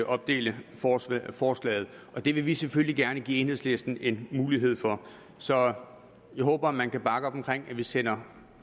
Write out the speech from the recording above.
opdele forslaget forslaget og det vil vi selvfølgelig gerne give enhedslisten en mulighed for så jeg håber man kan bakke op om at vi sender